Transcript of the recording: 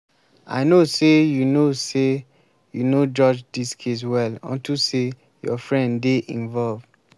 i know say you no say you no judge dis case well unto say your friend dey involved